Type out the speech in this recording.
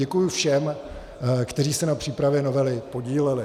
Děkuji všem, kteří se na přípravě novely podíleli.